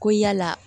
Ko yala